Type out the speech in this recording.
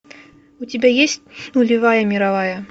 у тебя есть нулевая мировая